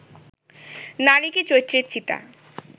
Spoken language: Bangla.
নারী কি চৈত্রের চিতা